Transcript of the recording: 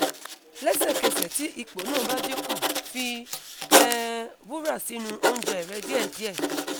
lesekese ti ipo na ba dinku fi um wura sinu ounje re die die